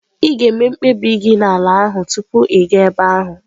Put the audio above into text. Ị ga-eme mkpebi gị n'ala ahụ tupu ị gaa ebe ahụ.